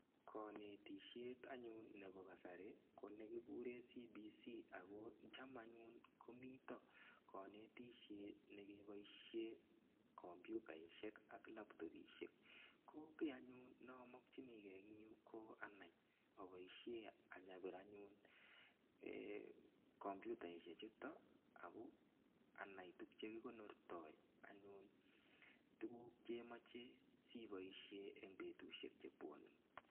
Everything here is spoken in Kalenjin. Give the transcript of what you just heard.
Kanetishet anyun nepo kasari, ko ne kikure (abrev.)CBC. Chama anyun komita kanetishet nekepaishe kompuyutaishek ak laptopishek. Ko ki anyun ne amakchini gei eng' yu ko anai apaishe any apir anyun komputaishechuto ana ko ana tuguuk che kikonortai anyun tuguuk che imache si ipaishe eng' petushek che pwanei.